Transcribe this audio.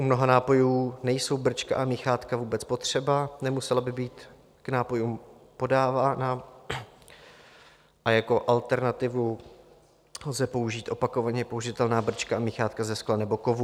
U mnoha nápojů nejsou brčka a míchátka vůbec potřeba, nemusela by být k nápojům podávána, a jako alternativu lze použít opakovaně použitelná brčka a míchátka ze skla nebo kovu.